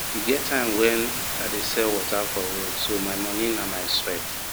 e get time wen i dey sell water for road so my money na my sweat